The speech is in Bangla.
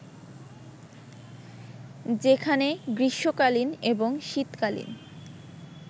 যেখানে গ্রীষ্মকালীন এবং শীতকালীন